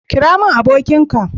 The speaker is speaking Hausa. kira mun abokin ka